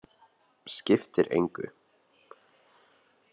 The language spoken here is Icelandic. Skiptir engu!